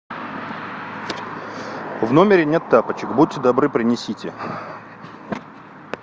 в номере нет тапочек будьте добры принесите